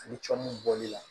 Ani cɔn mun bɔl'i la